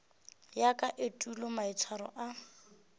ya ka etulo maitshwaro a